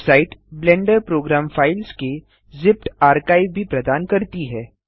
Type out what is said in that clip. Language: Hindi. वेबसाइट ब्लेंडर प्रोग्राम फाइल्स के जिप्ड आर्काइव भी प्रदान करती है